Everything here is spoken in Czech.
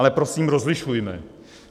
Ale prosím, rozlišujme.